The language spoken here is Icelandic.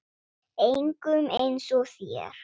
Engum eins og þér.